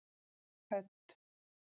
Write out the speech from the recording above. Hödd